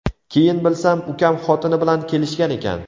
Keyin bilsam, ukam xotini bilan kelishgan ekan.